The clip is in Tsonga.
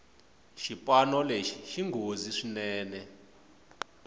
xipano lexi xinghozi swinene